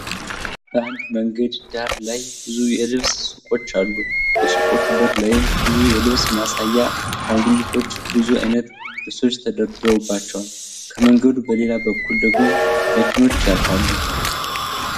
በአንድ መንገድ ዳር ላይ ብዙ የልብስ ሱቆች አሉ በሱቆቹ በር ላይም ብዙ የልብስ ማሳያ አሻንጉሊቶች ብዙ አይነት ልብሶች ተደርድረውባቸዋል። ከመንገዱ በሌላ በኩል ደግሞ መኪኖች ያልፋሉ።